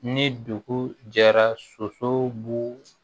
Ni dugu jɛra soso b'u